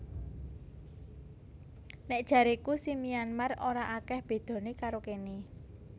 Nek jareku si Myanmar ora akeh bedone karo kene